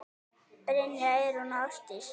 Brynja, Eyrún og Ásdís.